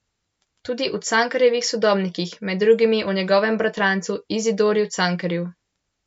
Tudi o Cankarjevih sodobnikih, med drugim o njegovem bratrancu Izidorju Cankarju.